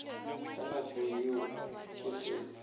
ka nako yeo ke ge